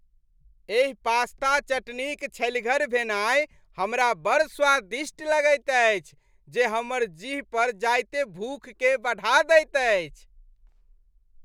एहि पास्ता चटनीक छल्हिगर भेनाइ हमरा बड़ स्वादिष्ट लगैत अछि जे हमर जीह पर जाइते भूखकेँ बढ़ा दैत अछि।